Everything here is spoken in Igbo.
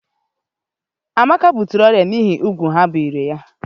Amaka butere ọrịa n'ihi úgwù ha biri ya.